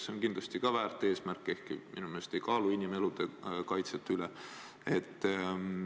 See on kindlasti ka väärt eesmärk, ehkki minu meelest see ei kaalu inimelude kaitse eesmärki üle.